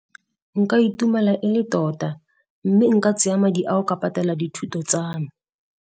Nka itumela e le tota mme nka tseya madi a o ka patela dithuto tsa me.